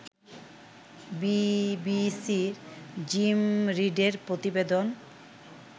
বিবিসির জিম রিডের প্রতিবেদন